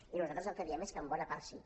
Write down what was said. i nosaltres el que diem és que en bona part sí